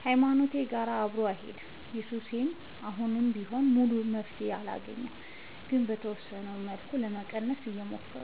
ከሀይማኖቴም ጋር አብሮ አይሄድም። ለሱሴ አሁንም ቢሆን ሙሉ መፍትሔ አላገኘሁም ግን በተወሰነ መልኩ ለመቀነስ እየሞከርኩ ነው።